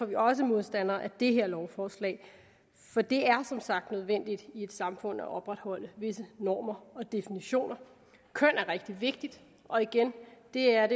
vi også modstandere af det her lovforslag for det er som sagt nødvendigt i et samfund at opretholde visse normer og definitioner køn er rigtig vigtigt og igen det er